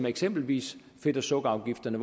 eksempelvis fedt og sukkerafgifterne